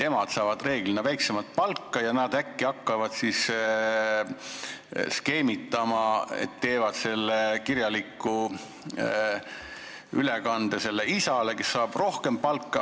Emad saavad reeglina väiksemat palka ja äkki nad hakkavad siis skeemitama ning teevad kirjaliku ülekande isale, kes saab rohkem palka.